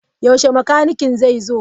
Yaushe makanikin zai zo?